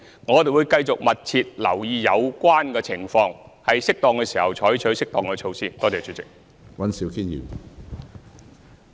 我們會繼續密切留意有關情況，在適當時候採取適當措施。